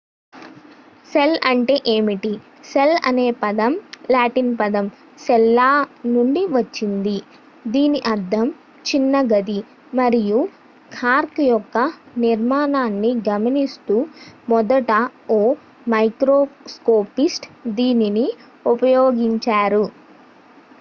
"Cell అంటే ఏమిటి? Cell అనే పదం లాటిన్ పదం "సెల్లా" ​​నుండి వచ్చింది దీని అర్థం "చిన్న గది" మరియు కార్క్ యొక్క నిర్మాణాన్ని గమనిస్తూ మొదట ఓ మైక్రోస్కోపిస్ట్ దీనిని ఉపయోగించారు.